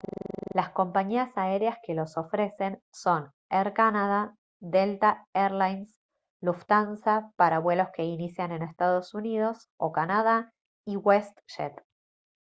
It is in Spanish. las compañías aéreas que los ofrecen son air canada delta air lines lufthansa para vuelos que inician en ee uu o canadá y westjet